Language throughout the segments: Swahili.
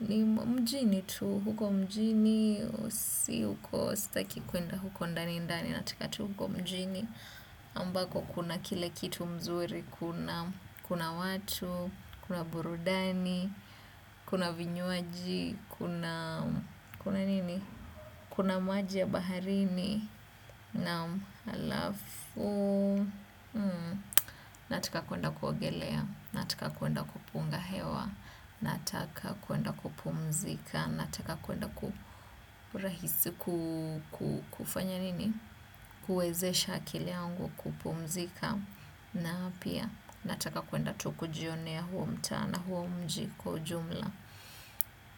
ni mjini tu, huko mjini, si huko staki kwenda huko ndani ndani, nataka tu huko mjini. Ambako kuna kile kitu mzuri, kuna watu, kuna burudani, kuna vinyuaji, kuna maji ya baharini, na alafu, nataka kuenda kuogelea, nataka kuenda kupunga hewa, nataka kuenda kupumzika, nataka kuenda kufanya nini, kuezesha akili yangu kupumzika. Na pia, nataka kuenda tu kujionea huo mta na huo mji kwa ujumla.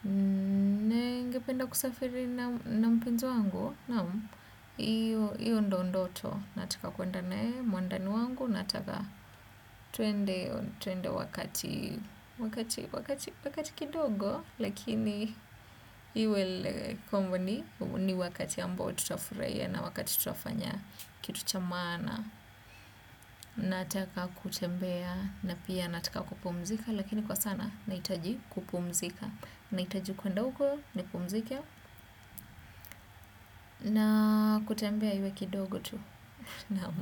Ninge penda kusafiri na mpenzi wangu? Nam, iyo ndo ndoto. Nataka kuenda naye muandani wangu, nataka tuende wakati kidogo. Lakini, iwele kombo ni wakati ambao tutafuraia na wakati tutafanya kitu chamana. Nataka kutembea na pia nataka kupumzika, lakini kwa sana nahitaji kupumzika, nahitaji kwa ndogo nipumzike kutembea iwe kidogo tu. Naam.